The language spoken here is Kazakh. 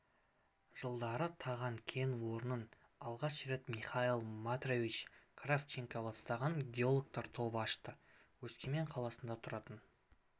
жылдары таған кен орнын алғаш рет михаил матвеевич кравченко бастаған геологтар тобы ашты өскемен қаласында тұратын